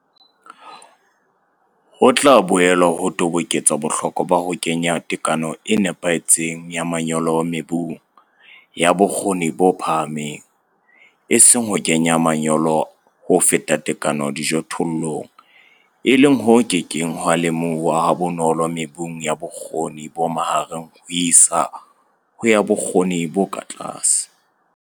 Ho tla boela ho toboketsa bohlokwa ba ho kenya tekano e nepahetseng ya manyolo mebung ya bokgoni bo phahameng, eseng ho kenya manyolo ho feta tekano dijothollong, e leng ho ke keng ha lemohuwa ha bonolo mebung ya bokgoni bo mahareng ho isa ho ba bokgoni bo tlase.